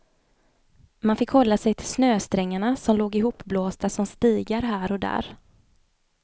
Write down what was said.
Man fick hålla sig till snösträngarna som låg ihopblåsta som stigar här och där.